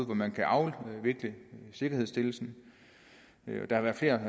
hvor man kan afvikle sikkerhedsstillelsen der har været flere